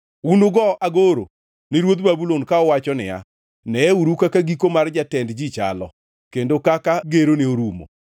unugo agoro ni ruodh Babulon ka uwacho niya: Neyeuru kaka giko mar jatend ji chalo, kendo kaka gerone orumo!